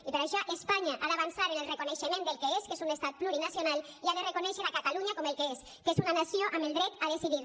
i per això espanya ha d’avançar en el reconeixement del que és que és un estat plurinacional i ha de reconèixer a catalunya com el que és que és una nació amb el dret a decidir